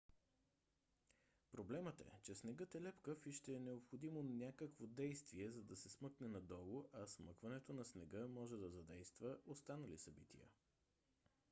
проблемът е че снегът е лепкав и ще е необходимо някакво действие за да се смъкне надолу а смъкването на снега може да задейства останали събития